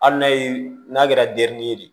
Hali n'a y'i n'a kɛra denin ye de